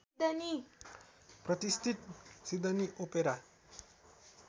प्रतिष्ठित Sydney opera